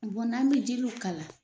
n'an bɛ jiriw k'a la